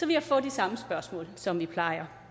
jeg få de samme spørgsmål som vi plejer